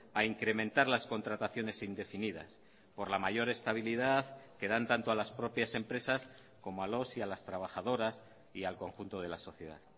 a incrementar las contrataciones indefinidas por la mayor estabilidad que dan tanto a las propias empresas como a los y a las trabajadoras y al conjunto de la sociedad